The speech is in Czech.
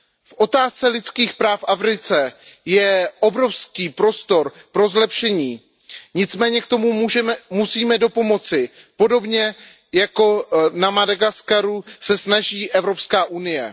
V otázce lidských práv v Africe je obrovský prostor pro zlepšení, nicméně tomu musíme napomoci podobně, jako na Madagaskaru se snaží Evropská unie.